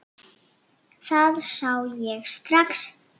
Það sá ég strax.